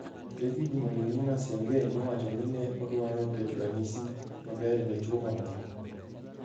David Moinina Sengeh nowacho ni ne odwaro keto ranyisi maber ne chwo mamoko.